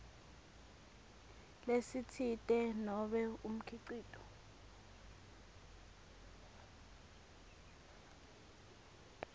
lesitsite nobe umkhicito